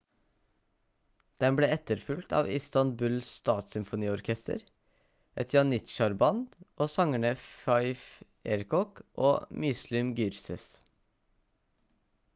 den ble etterfulgt av istanbul statssymfoniorkester et janitsjarband og sangerne fatih erkoç og müslüm gürses